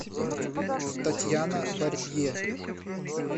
татьяна барбия